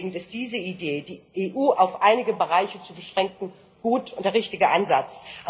Grundlegend ist diese Idee, die EU auf einige Bereiche zu beschränken, gut und der richtige Ansatz.